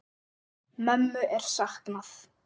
Mömmu er saknað.